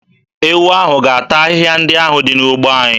Ewu ahụ ga-ata ahịhịa ndị ahụ dị n'ugbo anyị.